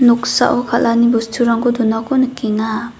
noksao kal·ani bosturangko donako nikenga.